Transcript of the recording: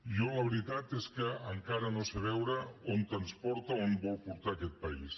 jo la veritat és que encara no sé veure on ens porta on vol portar aquest país